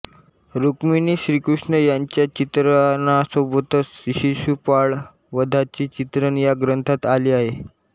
रुक्मिणीश्रीकृष्ण यांच्या चित्रणासोबतच शिशुपाळवधाचे चित्रण या ग्रंथात आले आहे